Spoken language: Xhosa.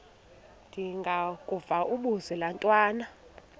ndengakuvaubuse laa ntwana